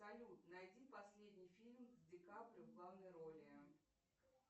салют найди последний фильм с ди каприо в главной роли